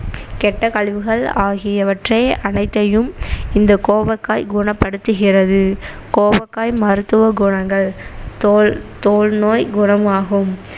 கெட்ட கழிவுகள் ஆகியவற்றை அனைத்தையும் இந்த கோவக்காய் குணப்படுத்துகிறது கோவக்காய் மருத்துவ குணங்கள் தோல் தோல் நோய் குணமாகும்